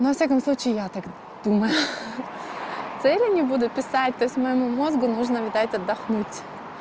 ну во всяком случае я тогда думаю цели не буду писать то есть моему мозгу нужно дать отдохнуть